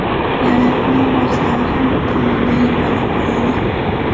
Yarim final bahslari ham bitta o‘yindan iborat bo‘ladi.